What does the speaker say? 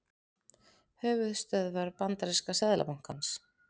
Höfuðstöðvar bandaríska seðlabankans.